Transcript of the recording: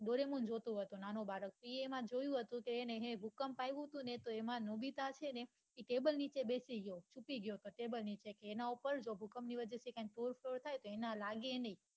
doraemon જોતો હોય નાનો બાળક તો એને એમાં જોયું હતું કે ભૂકંપ આવીયો હતો ને તો એમાં nobita છે ને table નીચે બેસી ગયો બચી ગયો હતો table નીચે એના ઉપર ભૂકંપ ની વાજે થી તોડ ફોડ થાય તો તેના લાગે ની